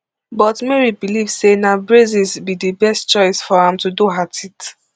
but mary believe say na braces be di best choice for am to do her teeth